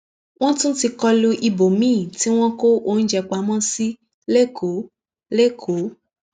wọn tún ti kọlu ibòmíín tí wọn kó oúnjẹ pamọ sí lẹkọọ lẹkọọ